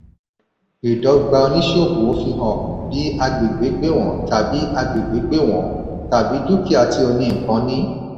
ìdọ́gba oníṣòwò fi hàn bi agbègbè gbéwọ̀n tàbí agbègbè gbéwọ̀n tàbí dúkìá tí oní-nnkan ní.